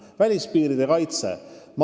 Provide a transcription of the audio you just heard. Nüüd, välispiiride kaitse.